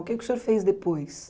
O que que o senhor fez depois?